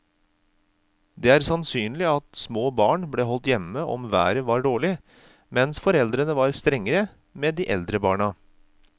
Det er sannsynlig at små barn ble holdt hjemme om været var dårlig, mens foreldrene var strengere med de eldre barna.